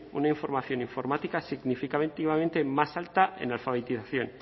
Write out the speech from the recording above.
una información informática significativamente más alta en alfabetización